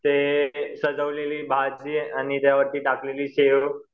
ते सजवलेली भाजी आणि त्याच्यावरती टाकलेली शेव